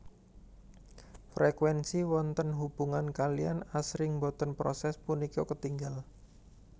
Frèkuènsi wonten hubungan kaliyan asring boten proses punika ketingal